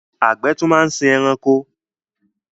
Àgbẹ̀ tún máa ń sin ẹranko.